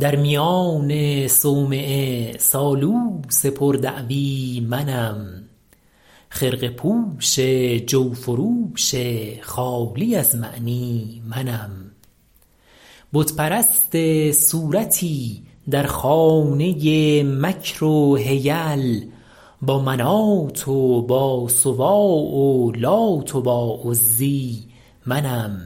در میان صومعه سالوس پر دعوی منم خرقه پوش جوفروش خالی از معنی منم بت پرست صورتی در خانه مکر و حیل با منات و با سواع و لات و با عزی منم